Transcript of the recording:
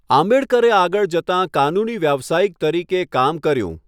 આંબેડકરે આગળ જતાં કાનૂની વ્યાવસાયિક તરીકે કામ કર્યું.